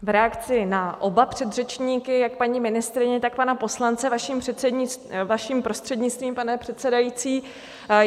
V reakci na oba předřečníky, jak paní ministryně, tak pana poslance, vaším prostřednictvím, pane předsedající.